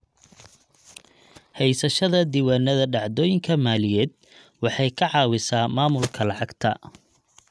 Haysashada diiwaannada dhacdooyinka maaliyadeed waxay ka caawisaa maamulka lacagta.